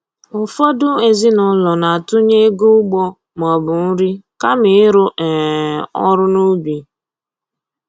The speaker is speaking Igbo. Ụfọdụ ezinụlọ na-atụnye ego ụgbọ maọbụ nri kama ịrụ um ọrụ n'ubi